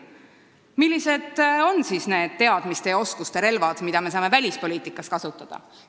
Millised on need teadmiste ja oskuste relvad, mida me saame välispoliitikas kasutada?